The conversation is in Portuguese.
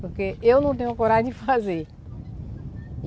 Porque eu não tenho coragem de fazer.